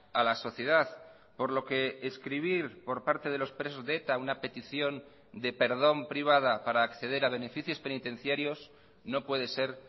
a la sociedad por lo que escribir por parte de los presos de eta una petición de perdón privada para acceder a beneficios penitenciarios no puede ser